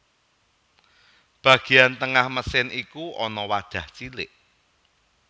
Bagian tengah mesin iku ana wadah cilik